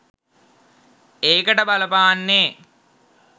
ඒකට බලපාන්නෙ